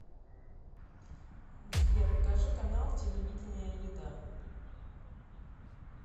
сбер покажи канал телевидения еда